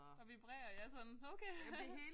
Der vibrer ja sådan okay